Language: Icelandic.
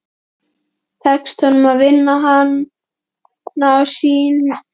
Tekst honum að vinna hana á sínu síðasta tímabili?